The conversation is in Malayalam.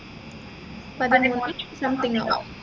പതിമൂന്നു something ആകും